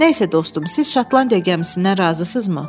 Nəsə dostum, siz Şotlandiya gəmisindən razısınızmı?